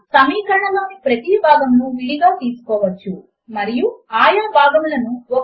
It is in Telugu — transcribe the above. ఇక్కడ ఈక్వల్ టు కారెక్టర్ యొక్క ఎడమ మరియు కుడి వైపుల మనకు సమానమైన సంఖ్యలో భాగములు లేవు అని ఇప్పుడు మనము ఊహిద్దాము